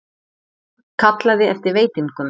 Kallaði eftir veitingum.